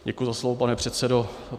Děkuji za slovo, pane předsedo.